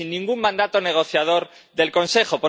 Y sin ningún mandato negociador del Consejo.